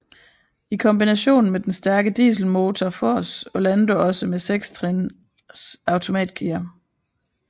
I kombination med den stærke dieselmotor fås Orlando også med sekstrins automatgear